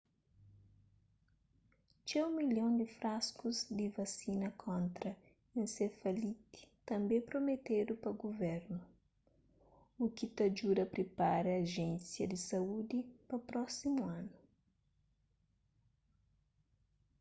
txeu milhon di fraskus di vasina kontra ensefaliti tanbê prometedu pa guvernu u ki ta djuda pripara ajénsia di saúdi pa prósimu anu